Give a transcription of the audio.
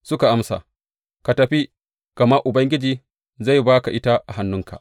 Suka amsa, Ka tafi, gama Ubangiji zai ba ka ita a hannunka.